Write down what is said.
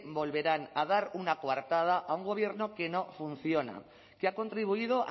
volverán a dar una coartada a un gobierno que no funciona que ha contribuido